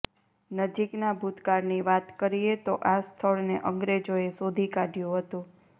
નજીકના ભૂતકાળની વાત કરીએ તો આ સ્થળને અંગ્રેજોએ શોધી કાઢ્યું હતું